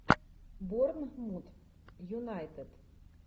борнмут юнайтед